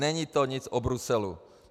Není to nic o Bruselu.